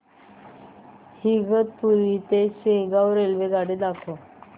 इगतपुरी ते शेगाव रेल्वेगाडी दाखव